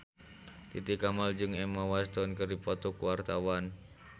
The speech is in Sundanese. Titi Kamal jeung Emma Watson keur dipoto ku wartawan